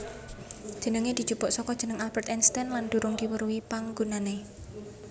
Jenengé dijupuk saka jeneng Albert Einstein lan durung diweruhi panggunaané